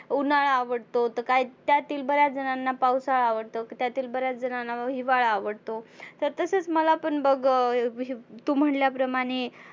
उन्हाळा आवडतो तर काही त्यातील बऱ्याच जणांना पावसाळा आवडतो तर त्यातील बऱ्याच जणांना हिवाळा आवडतो. तर तसच मला पण बघ अं तु म्हटल्या प्रमाणे